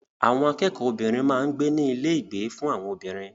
Àwọn akẹ́kọ̀ọ́ obìnrin máa ń gbé ní ilé ìgbé fún àwọn obìnrin.